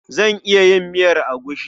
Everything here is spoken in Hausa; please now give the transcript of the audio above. Zan iya yin miyar agushi.